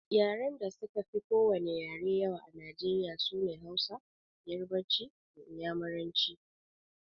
Yaren da suka fi ko wani yare yawa a Najeriya sune Hausa, Yarabanci da Inyamuranci